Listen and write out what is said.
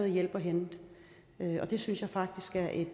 hjælp at hente det synes jeg faktisk er et